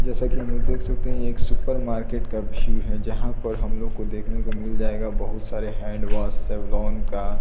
जैसा की हम लोग देख सकते हैं ये एक सुपर मार्केट का व्यू है जहाँ पर हम लोग को देखने को मिल जाएगा बहुत सारे हैंड वाश सेवलॉन का।